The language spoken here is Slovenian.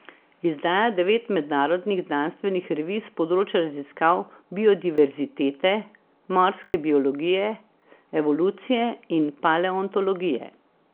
Izdaja devet mednarodnih znanstvenih revij s področja raziskav biodiverzitete, morske biologije, evolucije in paleontologije.